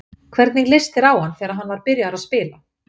Hvernig leist þér á hann þegar hann var byrjaður að spila?